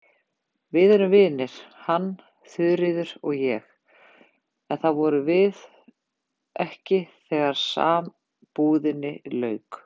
Við erum vinir, hann, Þuríður og ég, en það vorum við ekki þegar sambúðinni lauk.